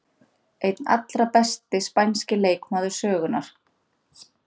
Einn allra besti spænski leikmaður sögunnar.